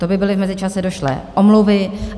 To by byly v mezičase došlé omluvy.